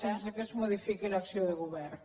sense que es modifiqui l’acció de govern